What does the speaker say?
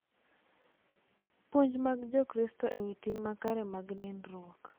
Puonj mag Jokristo ewi tim makare mag nindruok